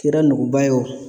Kɛra nuguba ye o